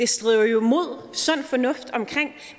strider imod sund fornuft omkring